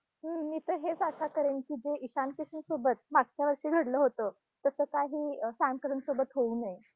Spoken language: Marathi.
हम्म मी तर हेचं आशा करेल की, जे ईशान किशनसोबत, मागच्या वर्षी घडलं होतं तसं काही सॅम करनसोबत होऊ नये.